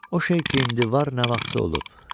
O şey ki, indi var, nə vaxtsa olub.